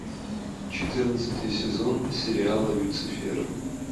четырнадцатый сезон сериала люцифер